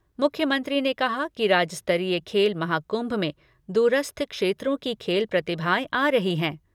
मुख्यमंत्री ने कहा कि राज्य स्तरीय खेल महाकुंभ में दूरस्थ क्षेत्रों की खेल प्रतिभाएं आ रही हैं।